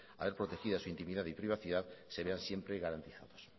a ver protegida su intimidad y privacidad se vean siempre garantizados